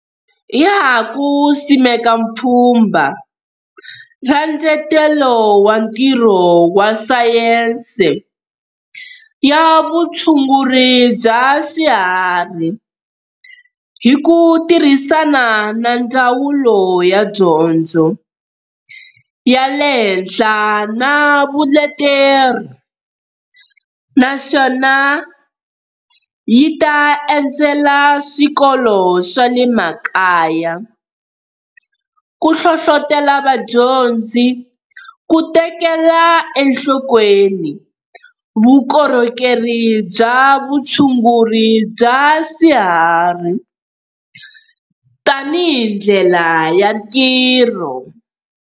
Ya ha ku simeka Pfhumba ra Ndzetelo wa Ntirho wa Sayense ya Vutshunguri bya Swiharhi, hi ku tirhisana na Ndzawulo ya Dyondzo ya le Henhla na Vuleteri, naswona yi ta endzela swikolo swa le makaya ku hlohlotela vadyondzi ku tekela enhlokweni vukorhokeri bya vutshunguri bya swiharhi tanihi ndlela ya ntirho.